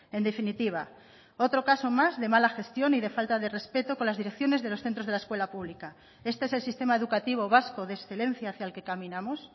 en definitiva otro caso más de mala gestión y de falta de respeto con las direcciones de los centros de la escuela pública este es el sistema educativo vasco de excelencia hacia el que caminamos